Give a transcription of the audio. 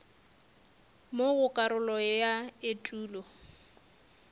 mo go karolo ya etulo